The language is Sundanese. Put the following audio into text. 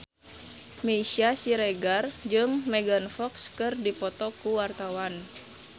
Meisya Siregar jeung Megan Fox keur dipoto ku wartawan